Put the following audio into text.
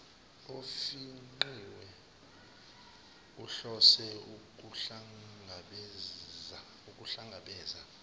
ofingqiwe uhlose ukuhlangabeza